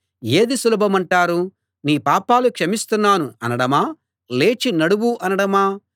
ఏది సులభమంటారు నీ పాపాలు క్షమిస్తున్నాను అనడమా లేచి నడువు అనడమా